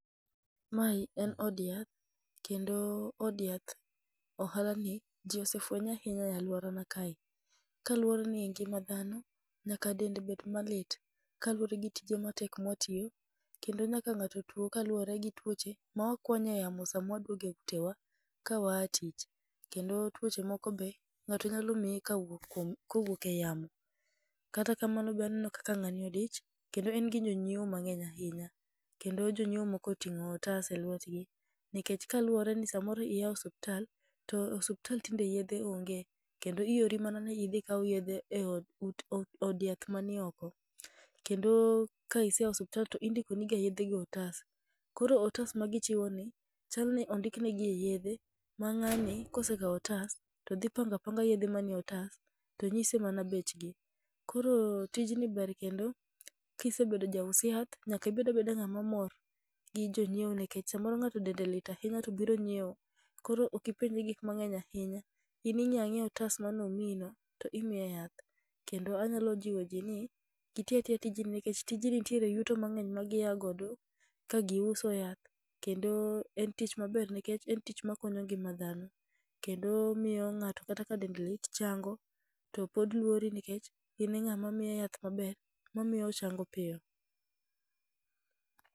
Mae en od yath kendo od yath ohala ni ji osefwenye ahinya e alworana kae. Kaluwore ni ngima dhano, nyaka dend bed malit, kaluwore gi tije matek mwatiyo. Kendo nyaka ng'ato tuo kaluwore gi tuoche mawakwanye yamo sama waduoge utewa kawaa tich, kendo tuoche moko be ng'ato nyalo miyi kawuok kuom kowuok e yamo. Kata kamano be aneno kaka ng'ani odich kendo en gi jonyiewo mang'eny ahinya, kendo jonyiewo moko oting'o otas e lwetgi. Nikech kaluwore ni samoro iya e osuptal, to osuptal tinde yedhe onge, kendo iori mana ni idhi ikaw yedhe e od yath mani oko. Kendo ka iseya osiptal to indikoni ga yedhe go e otas, koro otas ma gichiwo ni, chalni odhikne gie yedhe. Ma ng'ani kosekawo otas, to dhi panga apanga yedhe manie otas to nyise mana bechgi. Koro tijni ber kendo kisebed jaus yath, nyaka ibed abeda ng'ama omor gi jonyiewo nikech samoro ng'ato dende lit ahinya to obiro nyiewo. Koro okipenje gik mang'eny ahinya, in ing'iya ng'iya otas manomiyi no to imiye yath. Kendo anyalo jiwo ji ni giti atiya tijni nikech tijni nitiere yuto mang'eny ma giya godo kagiuso yath. Kendo en tich maber nikech en tich ma kinyo ngima dhano, kendo miyo ng'ato kata ka dende lit chango. To pod luori nikech in e ng'a ma miye yath maber mamiyo ochango piyo.